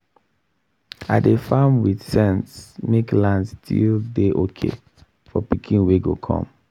i dey farm with sense make land still dey okay for pikin wey go come